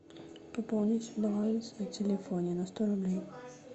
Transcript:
пополнить баланс на телефоне на сто рублей